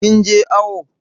Kin je awo?